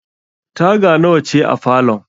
Taga nawa ce a falon?